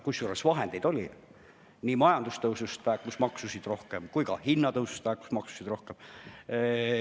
Kusjuures vahendeid oli, majandustõusuga laekus maksusid rohkem ja ka hinnatõusu mõjul laekus maksusid rohkem.